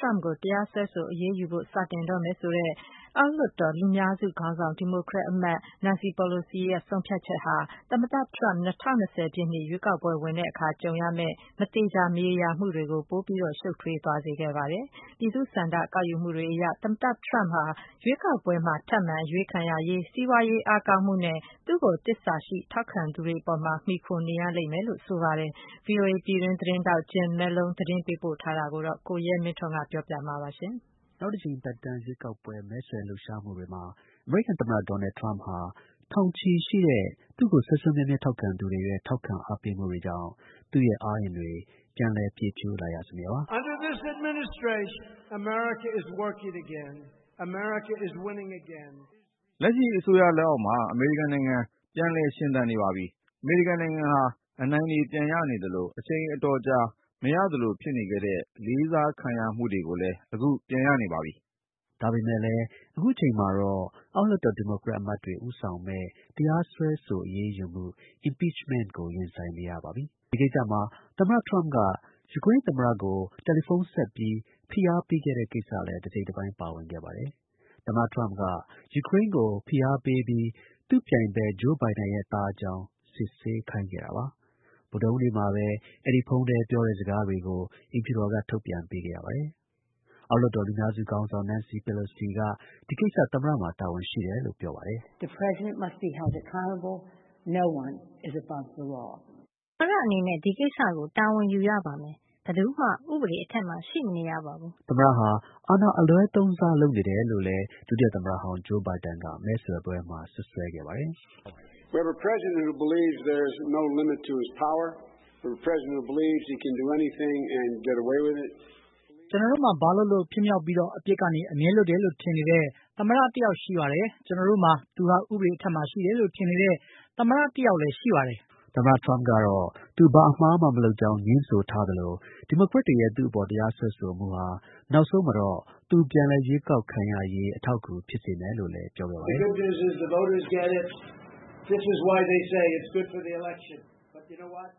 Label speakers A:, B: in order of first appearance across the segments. A: ရမ့်ကို တရားစွဲဆို အရေးယူဖို့ စတင် လုပ်ဆောင်တော့မယ် ဆိုတဲ့ အောက်လွှတ်တော် လူများစု ခေါင်းဆောင် ဒီမိုကရက် အမတ် နန်စီ ပီလိုစီရဲ့ ဆုံးဖြတ်ချက်ဟာ သမ္မတ ဒေါ်နယ်ထရမ့် ၂၀၂၀ ပြည့်နှစ် ရွေးကောက်ပွဲ ဝင်တဲ့အခါ ကြုံတွေ့ရမယ့် မသေချာမရေရာမှု အခြေအနေတွေကို ပိုမို ရှုပ်ထွေးသွားစေခဲ့ပါတယ်။ ပြည်သူ့ သဘောထား ဆန္ဒ ကောက်ယူမှုတွေအရ တော့ သမ္မတ ထရမ့်ဟာ ရွေးကောက်ပွဲဝင်မယ့် လက်ရှိ သမ္မတတစ်ယောက်အနေနဲ့ အားနည်းတဲ့ အနေအထားမှာ ရှိနေပြီး ထပ်မံ အရွေးခံရ ရေး စီးပွားရေး အားကောင်းမှုနဲ့ သူ့ကို သစ္စာရှိ ထောက်ခံသူတွေ အပေါ်မှာ မှီခိုနေရလိမ့်မယ်လို့ ဆိုပါတယ်။ VOA သတင်းထောက် Jim Malone သတင်းပေးပို့ထားတာကို ကိုရဲမင်းထွန်းက ပြောပြမှာပါ။ နောက်သက်တမ်း ထပ်မံ အရွေးခံဖို့ မဲဆွယ်လှုပ်ရှားမှုတွေမှာ အမေရိကန်သမ္မတ ဒေါ်နယ် ထရမ့်ဟာ ထောင်ချီရှိတဲ့ သူ့ကို ထောက်ခံသူတွေရဲ့ စွမ်းအားကြောင့် သူ့ရဲ့ အားအင်တွေ ပြန်လည် ပြည့်ဖြိုးလာရစမြဲပါ။ “ လက်ရှိ အစိုးရလက်အောက်မှာ အမေရိကန်နိုင်ငံ ပြန်လည် ရှင်သန်နေပါပြီ။ အမေရိကန်နိုင်ငံဟာ အနိုင်တွေ ပြန်ရနေသလို အချိန် အတော်ကြာ မရသလို ဖြစ်နေခဲ့တဲ့ လေးစားခံရမှုတွေကိုလည်း အခု ပြန် ရနေပါပြီ။” ဒါပေမဲ့လည်း အခုအချိန်မှာတော့ အောက်လွှတ်တော် ဒီမိုကရက် အမတ်တွေ ဦးဆောင်မယ့် တရားစွဲဆို အရေးယူမှု (impeachment) ကို ရင်ဆိုင်နေရ ပါပြီ။ ဒီကိစ္စမှာ သမ္မတ ထရမ့်က ယူကရိန်း သမ္မတကို ဖုန်းခေါ်ပြီး ဖိအားပေးခဲ့တဲ့ကိစ္စလည်း တစ်စိတ်တစ်ပိုင်း ပါဝင်ခဲ့ပါတယ်။ သမ္မတ ထရမ့်က ယူကရိန်းကို ဖိအားပေးပြီး သူ့ ပြိုင်ဖက် Joe Biden ရဲ့ သားအကြောင်း စစ်ဆေးခိုင်းခဲ့ပါတယ်။ ဗုဒ္ဓဟူးနေ့မှာပဲ အဲဒီ ဖုန်းထဲ ပြောတဲ့စကားတွေကို အိမ်ဖြူတော်က ထုတ်ပြန်ပေးခဲ့ရပါတယ်။ အောက်လွှတ်တော် လူများစု ခေါင်းဆောင် နန်စီ ပီလိုစီက ဒီကိစ္စ သမ္မတမှာ တာဝန်ရှိတယ်လို့ ပြောပါတယ်။ “ သမ္မတအနေနဲ့ ဒီကိစ္စကို တာဝန်ယူရပါမယ်။ ဘယ်သူမှ ဥပဒေအထက်မှာ ရှိမနေရပါဘူး။ ” သမ္မတဟာ အာဏာ အလွဲသုံးစား လုပ်နေတယ်လို့ ဒုတိယ သမ္မတ ဟောင်း Biden ကလည်း မဲဆွယ်ပွဲမှာ စွပ်စွဲခဲ့ပါတယ်။ “ ကျွန်တော်တို့မှာ ဘာလုပ်လုပ် ဖြစ်မြောက်ပြီး အပြစ်ကနေ အမြဲလွတ်တယ်လို့ ထင်နေတဲ့ သမ္မတ တစ်ယောက်ရှိတယ်။ ကျွန်တော်တို့မှာ သူ ဟာ ဥပဒေ အထက်မှာ ရှိတယ်လို့ ထင်နေတဲ့ သမ္မတတစ်ယောက်လည်း ရှိတယ်။” သမ္မတ ထရမ့်ကတော့ သူ ဘာအမှားမှ မလုပ်ကြောင်း ငြင်းဆိုသလို ဒီမိုကရက်တွေရဲ့ သူ့အပေါ် တရားစွဲဆိုမှုဟာ နောက်ဆုံးမှာ သူ ပြန်လည် ရွေးကောက်ခံရေး အထောက်အကူ ဖြစ်စေမယ်လို့ လည်းပြောခဲ့ပါတယ်။ “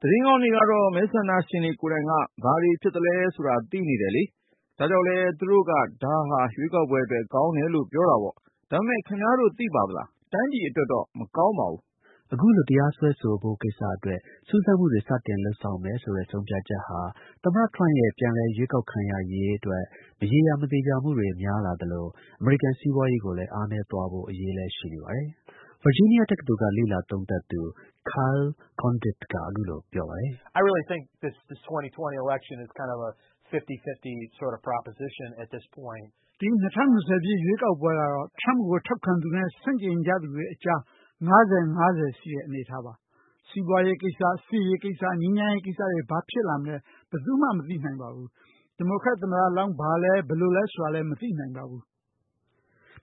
A: သတင်းကောင်းကတော့ မဲဆန္ဒရှင်တွေကိုယ်တိုင်က ဘာတွေဖြစ်သလဲဆိုတာ သိနေတယ်လေ။ ဒါကြောင့်လည်း သူတို့က ဒါဟာ ရွေးကောက်ပွဲအတွက် ကောင်းတယ်လို့ ပြောတာပေါ့။ ဒါပေမဲ့ ခင်ဗျားတို့ သိသလား။ တိုင်းပြည်အတွက်တော့ မကောင်းဘူး။” အခု လို တရားစွဲဆိုဖို့ကိစ္စအတွက် စူးစမ်းမှုတွေ စတင်လုပ်မယ်ဆိုတဲ့ ဆုံးဖြတ်ချက်ဟာ သမ္မတ ထရမ့်ရဲ့ ပြန်လည် ရွေးကောက်ခံရရေးအတွက် မရေရာ မသေချာမှုတွေ ပိုများလာသလို အမေရိကန် စီးပွားရေးကို အားနည်းသွားဖို့ အရေးလည်း ရှိနေပါတယ်။ “ ဒီ ၂၀၂၀ ရွေးကောက်ပွဲကတော့ ထရမ့်ကိုထောက်ခံသူနဲ့ ဆန့်ကျင်သူတွေအကြား ၅၀-၅၀ ရှိတဲ့ အနေအထားပါ။ စီးပွားရေး ကိစ္စ၊ စစ်ကိစ္စနဲ့ ငြိမ်းချမ်ရေး ကိစ္စတွေ ဘာဖြစ်လာမလဲ ဘာမှာ မသိနိုင်ဘူး။ ဒီမိုကရက် သမ္မတလောင်း ဘာလဲ ဘယ်လိုလဲ မသိနိုင်ဘူး။”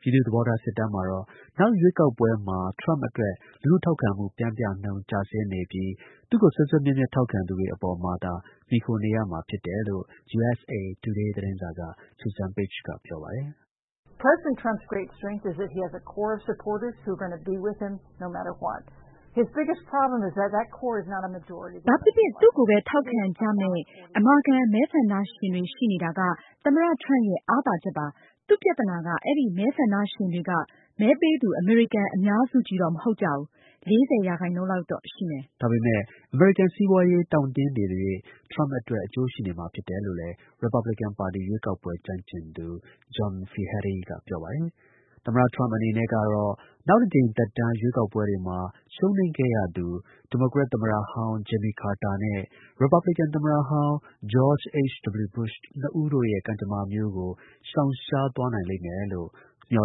A: ပြည်သူ့ သဘောထား စစ်တမ်းမှာတော့ နောက်ရွေးကောက်ပွဲမှာ ထရမ့်အတွက် လူထုထောက်ခံမှု ပျမ်းမျှနှုန်း ကျဆင်းနေပြီး သူ့ကို စွဲစွဲမြဲမြဲ ထောက်ခံသူတွေ အပေါ်မှာသာ မှီခိုနေရမှာ ဖြစ်ပါတယ်လို့ USA Today သတင်းစာက Susan Page က ပြောပါတယ်။ “ ဘာဖြစ်ဖြစ် သူ့ကိုပဲ ထောက်ခံကြမယ့် အမာခံ မဲဆန္ဒရှင်တွေရှိနေတာက သမ္မတ ထရမ့်ရဲ့ အားသာချက်ပါ။ သူ့ ပြဿနာက အဲဒီ မဲဆန္ဒရှင် တွေက မဲပေးသူ အမေရိကန် အများစုကြီးတော့ မဟုတ်ကြဘူး။ ၄၀ ရာခိုင်နှုန်းလောက်တော့ ရှိမယ်။ ” ဒါပေမဲ့ စီးပွားရေး တောင့်တင်းနေသရွေ့ ထရမ့်အတွက် အကျိုးရှိနေမှာဖြစ်တယ်လို့လည်း ရီပတ်ဘလစ်ကင်ပါတီ ရွေးကောက်ပွဲ ကျွမ်းကျင်သူ John Feehery က ပြောပါတယ်။ သမ္မတ ထရမ့် အနေနဲ့ကတော့ နောက်တစ်ကြိမ် သက်တမ်း ရွေးကောက်ပွဲတွေမှာ ရှုံးနိမ့်ခဲ့ရသူ ဒီမိုကရက် သမ္မတဟောင်း Jimmy Carter နဲ့ ရီပတ်ဘလစ်ကန် သမ္မတဟောင်း George H. W Bush တို့နှစ်ဦးရဲ့ ကံကြမ္မာမျိုးကို ရှောင်ရှားနိုင်လိမ့်မယ်လို့တော့